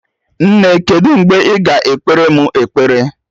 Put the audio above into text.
Nne, kedu mgbe ị ga ekpere mụ ekpere?